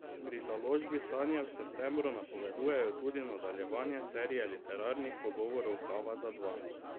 Pri založbi Sanje v septembru napovedujejo tudi nadaljevanje serije literarnih pogovorov Kava za dva.